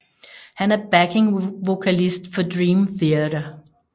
Han er backingvokalist for Dream Theater